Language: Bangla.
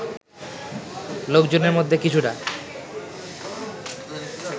লোকজনের মধ্যে কিছুটা